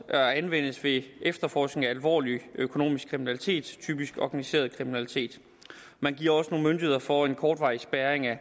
at anvendes ved efterforskning af alvorlig økonomisk kriminalitet typisk organiseret kriminalitet man giver også mulighed for kortvarig spærring af